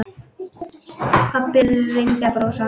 Pabbi reyndi að brosa.